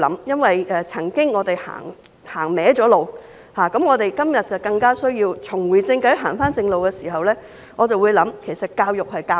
因為我們曾經走歪路，今天更需要重回正軌、走回正路的時間，我會想其實教育要教授甚麼？